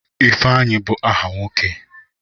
Ifeanyi bụ aha nwoke.